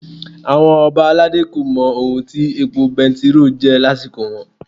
Àwọn Ọba aládé kò mọ ohun tí epo bẹntiróò jẹ́ lásìkò wọn.